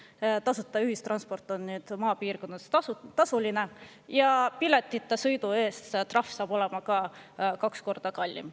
Seni tasuta ühistransport on nüüd maapiirkondades tasuline ja trahv piletita sõidu eest saab olema ka kaks korda suurem.